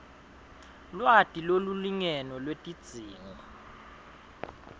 lwati lolulingene lwetidzingo